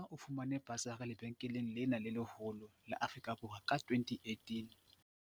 Malinga o fumane basari lebenkeleng lena le leholo la Afrika Borwa ka 2018.